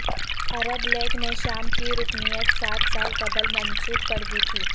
عرب League نے شام کی رکنیت سات سال قبل منسوخ کر دی تھی